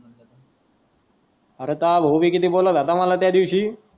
अरे तोहा भाऊ भी किती बोलत होता मला त्या दिवशी.